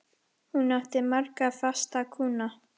Hún átti marga fasta kúnna.